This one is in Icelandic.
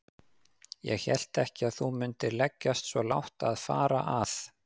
Ég hélt ekki að þú mundir leggjast svo lágt að fara að.